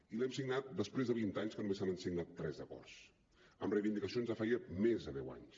i l’hem signat després de vint anys en què només se n’han signat tres d’acords amb reivindicacions de feia més de deu anys